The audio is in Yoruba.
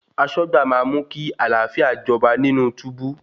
Aṣọ́gbà máa mú kí àlàáfíà jọba nínú túbú.